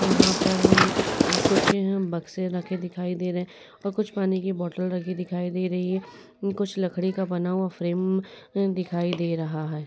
यहाँ पर कुछ बक्से रखे दिखाई दे रहे हैं। कुछ पानी की बोटल दिखाई दे रही हैं। कुछ लकड़ी का बना हुआ फ्रेम दिखाई दे रहा हैं।